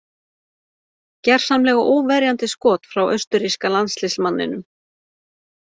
Gersamlega óverjandi skot frá austurríska landsliðsmanninum.